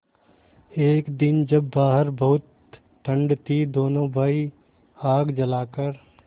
एक दिन जब बाहर बहुत ठंड थी दोनों भाई आग जलाकर